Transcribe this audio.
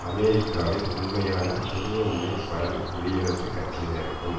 அமெரிக்காவில் உண்மையான துருவமுனைப்படல் குடியரசுக் கட்சியினருக்கும்